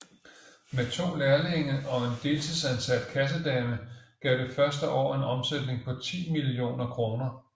Med 2 lærlinge og en deltidsansat kassedame gav det første år en omsætning på 10 mio kr